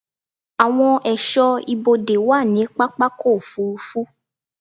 Àwọn ẹ̀ṣọ́ ibodè wà ní pápákọ̀-òfurufú.